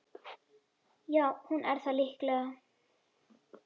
Já, hún er það líklega